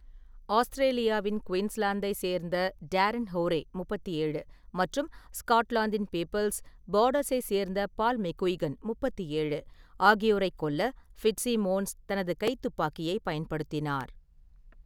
ஆஸ்திரேலியாவின் குயின்ஸ்லாந்தைச் சேர்ந்த டேரன் ஹோரே (37) மற்றும் ஸ்காட்லாந்தின் பீபிள்ஸ், பார்டர்ஸைச் சேர்ந்த பால் மெக்குய்கன் (37) ஆகியோரைக் கொல்ல ஃபிட்ஸிமோன்ஸ் தனது கைத்துப்பாக்கியைப் பயன்படுத்தினார்.